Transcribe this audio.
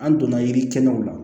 An donna yirikisɛninw la